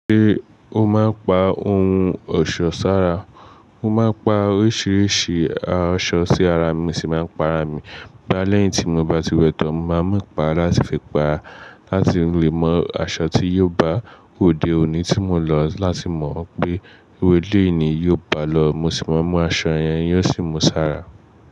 Ṣé o máa ń pa ohun ọ̀ṣọ́ sára? Mo máa ń pa oríṣiríṣi aṣọ sí ara mi, mo si máa ń para mí. Bá lẹ́yìn tí mo bá ti wẹ̀ tọ́n, mo máa mú ìpara láti fi para lati leè mọ aṣọ tí yóò bá òde òní tí mọ̀ ń lọ láti mọ pé ewé déèní yóò bá lọ, mo ṣì máa mú aṣọ yẹn, yóò sì mú sára.